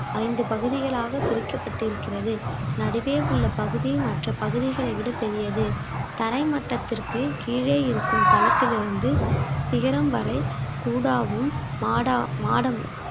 ஐந்து பகுதிகளாக பிரிக்கப்பட்டிருக்கிறது நடுவே உள்ள பகுதி மற்ற பகுதிகளை விட பெரியது தரைமட்டத்திற்கு கீழே இருக்கும் தளத்தில் இருந்து சிகரம் வரை கூடாவும் மாடா~ மாடமும்